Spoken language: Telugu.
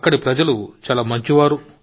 అక్కడి ప్రజలు చాలా మంచివారు